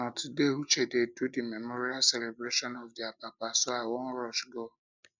um na today uche dey do the memorial celebration of their papa so i wan rush go